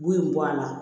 Bu in bɔ a la